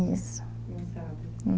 Não sabe?